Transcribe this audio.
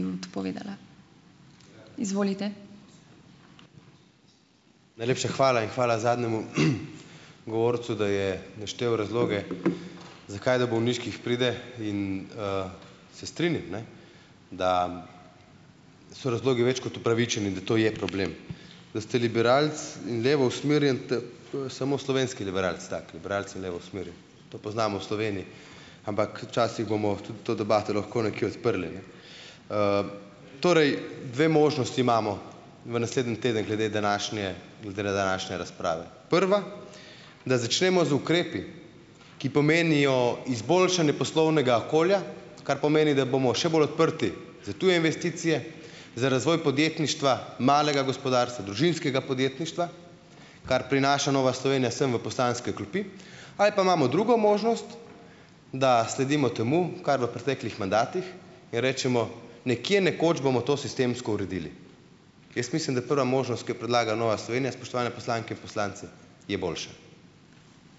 Najlepša hvala. In hvala zadnjemu govorcu, da je naštel razloge, zakaj do bolniških pride - in, se strinjam, ne, da so razlogi več kot opravičeni, da to je problem. Da ste liberalec in levo usmerjen - to je samo slovenski liberalec tak. Liberalec je levo usmerjen. To poznamo v Sloveniji. Ampak včasih bomo tudi to debato lahko nekje odprli, ne. Torej, dve možnosti imamo v naslednji teden glede današnje glede današnje razprave. Prva - da začnemo z ukrepi, ki pomenijo izboljšanje poslovnega okolja, kar pomeni, da bomo še bolj odprti za tuje investicije, za razvoj podjetništva, malega gospodarstva, družinskega podjetništva. Kar prinaša Nova Slovenija sem v poslanske klopi. Ali pa imamo drugo možnost, da sledimo temu, kar je bilo v preteklih mandatih in rečemo: "Nekje, nekoč bomo to sistemsko uredili." Jaz mislim, da prva možnost, ki jo predlaga Nova Slovenija, spoštovane poslanke in poslanci, je boljša.